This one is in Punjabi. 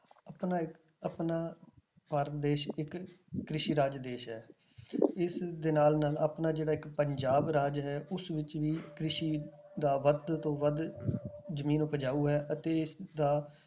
ਆਪਣਾ ਇੱਕ ਆਪਣਾ ਭਾਰਤ ਦੇਸ ਇੱਕ ਕ੍ਰਿਸ਼ੀ ਰਾਜ ਦੇਸ ਹੈ ਇਸਦੇ ਨਾਲ ਨਾਲ ਆਪਣਾ ਜਿਹੜਾ ਇੱਕ ਪੰਜਾਬ ਰਾਜ ਹੈ ਉਸ ਵਿੱਚ ਵੀ ਕ੍ਰਿਸ਼ੀ ਦਾ ਵੱਧ ਤੋਂ ਵੱਧ ਜ਼ਮੀਨ ਉਪਜਾਊ ਹੈ ਅਤੇ ਇਸਦਾ